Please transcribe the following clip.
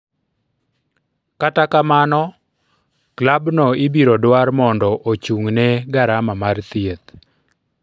Kata kamno klabno ibiro dwar mondo ochung'ne garama mar thieth.